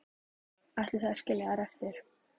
Ætlið þið að skilja þær eftir?